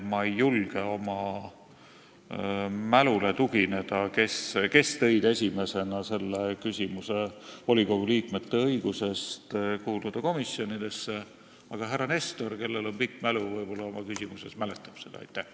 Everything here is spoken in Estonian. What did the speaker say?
Ma ei julge oma mälule tuginedes öelda, kes tõid esimesena esile volikogu liikmete õiguse komisjonidesse kuuluda, aga härra Nestor, kellel on pikk mälu, võib-olla mäletab seda ja oma küsimuses mainib.